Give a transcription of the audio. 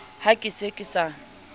ha ke se ke sa